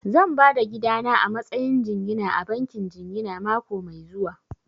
Zan ba da gidana a matsayin jingina a bankin jingina mako mai zuwa